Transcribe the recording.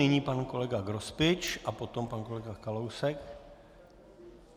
Nyní pan kolega Grospič a potom pan kolega Kalousek.